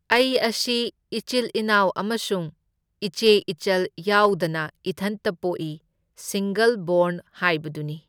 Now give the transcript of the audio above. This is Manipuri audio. ꯑꯩ ꯑꯁꯤ ꯏꯆꯤꯜ ꯢꯅꯥꯎ ꯑꯃꯁꯨꯡ ꯏꯆꯦ ꯏꯆꯜ ꯌꯥꯎꯗꯅ ꯏꯊꯟꯇ ꯄꯣꯛꯏ, ꯁꯤꯡꯒꯜ ꯕꯣꯔꯟ ꯍꯥꯏꯕꯗꯨꯅꯤ꯫